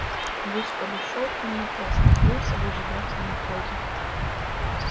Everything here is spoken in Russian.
гусь подошёл к нему и остановился в ожидательной позе